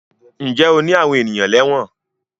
Ǹjẹ́ o ní ènìyàn lẹ́wọ̀n?